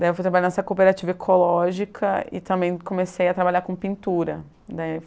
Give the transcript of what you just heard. Daí fui trabalhar nessa cooperativa ecológica e também comecei a trabalhar com pintura. Daí